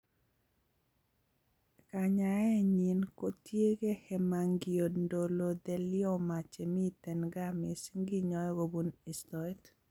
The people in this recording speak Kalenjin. Kanyaet nyi kotiegei hemangioendothelioma chemitei nga mising kinyoe kobun istoet